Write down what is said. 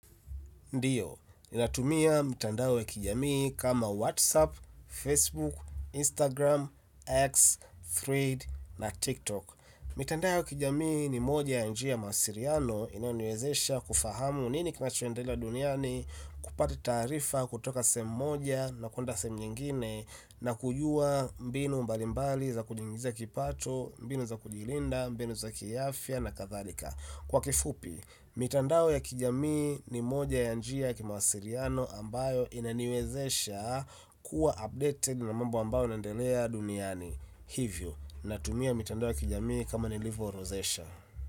Ndiyo, ninatumia mitandao ya kijamii kama Whatsapp, Facebook, Instagram, X, Thread na TikTok. Mitandao ya kijamii ni moja ya njia mawasiliano inaniwezesha kufahamu nini kinachoendelea duniani kupata taarifa kutoka sehemu moja na kwenda sehemu nyingine na kujua mbinu mbalimbali za kujiingiza kipato mbinu za kujilinda mbinu za kiafya na kadhalika kwa kifupi mitandao ya kijamii ni moja ya njia ya kimasiliano ambayo inaniwezesha kuwa updated na mambo ambayo yanaendelea duniani hivyo, natumia mitandao ya kijamii kama nilivo rozesha.